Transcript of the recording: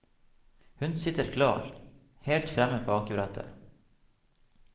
Hun sitter klar, helt fremme på akebrettet.